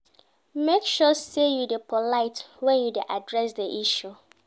Make sure say you de polite when you de address di issue